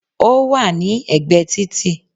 Ó wà ní ẹ̀gbẹ́ títì